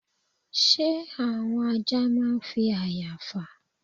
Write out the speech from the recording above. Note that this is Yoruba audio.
Ṣé àwọn ajá máa ń fi àya fà?